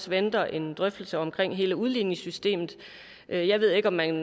venter en drøftelse omkring hele udligningssystemet jeg jeg ved ikke om man